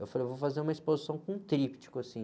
Eu falei, vou fazer uma exposição com tríptico, assim.